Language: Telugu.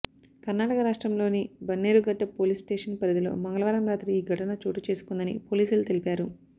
కర్ణాటక రాష్ట్రంలోని బన్నేరుఘట్ట పోలీస్ స్టేషన్ పరిధిలో మంగళవారం రాత్రి ఈ ఘటన చోటు చేసుకొందని పోలీసులు తెలిపారు